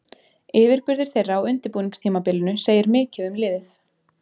Yfirburðir þeirra á undirbúningstímabilinu segir mikið um liðið.